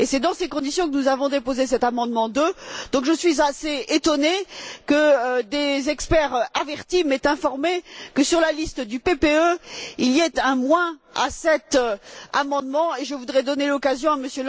c'est dans ces conditions que nous avons déposé cet amendement 2, donc je suis assez étonnée que des experts avertis m'aient informée que sur la liste du PPE, il y avait un moins à cet amendement, et je voudrais donner l'occasion à M.